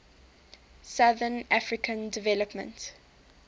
southern african development